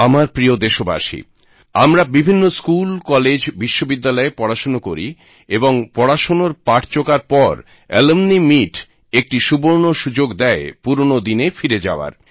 আমার প্রিয় দেশবাসী আমরা বিভিন্ন স্কুল কলেজ বিশ্ববিদ্যালয়ে পড়াশোনা করি এবং পড়াশোনার পাঠ চোকার পর অ্যালমনি মিট একটি সুবর্ণ সুযোগ দেয় পুরোনো দিনে ফিরে যাওয়ার